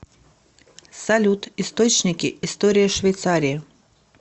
салют источники история швейцарии